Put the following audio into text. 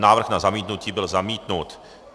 Návrh na zamítnutí byl zamítnut.